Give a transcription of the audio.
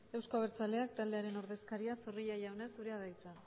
euzko abertzaleak taldearen ordezkaria zorrilla jauna zurea da hitza